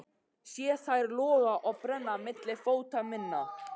Sé þær loga og brenna milli fóta minna.